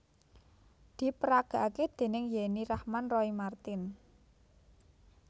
Diperagakake déning Yenny Rahman Roy Marten